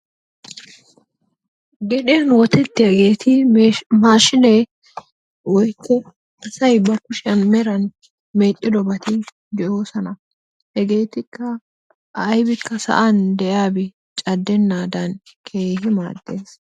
Gedhdhiyan wottettiyaageeti maashinee woykko asay ba kushshiyan meran medhdhidobati de'oosona. Hegeetikka aybikka sa'aan de'iyaabi caddennadan keehi maaddees.